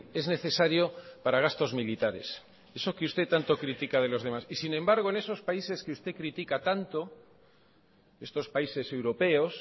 es necesario para gastos militares eso que usted tanto critica de los demás y sin embargo en esos países que usted critica tanto estos países europeos